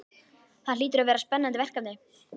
Það hlýtur að vera spennandi verkefni?